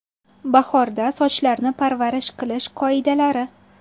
Bahorda sochlarni parvarish qilish qoidalari.